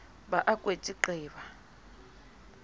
ba a kwetse nqi ba